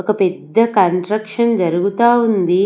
ఒక పెద్ద కన్స్ట్రక్షన్ జరుగుతా ఉంది.